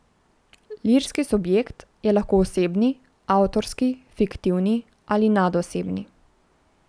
Lirski subjekt je lahko osebni, avtorski, fiktivni ali nadosebni.